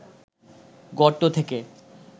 গর্ত থেকে